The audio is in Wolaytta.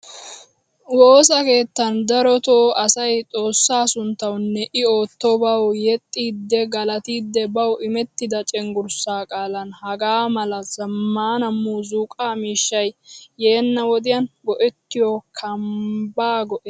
Woosaa keettan drotto asay xoosaa sunttawunne i oottobawu yeexidi galattidi bawu immettida cenggurssa qaalan hagaa mala zammaana muuzzuqqa miishshay yeena wodiyan go'ettiyo kamba go'ettees.